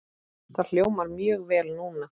Það hljómar mjög vel núna.